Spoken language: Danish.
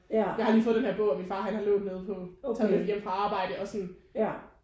Jeg har lige fået denne her bog fra min far han har lånt nede på og taget med hjem fra arbejdet og sådan